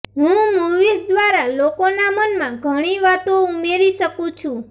હું મૂવીઝ દ્વારા લોકોના મનમાં ઘણી વાતો ઉમેરી શકું છું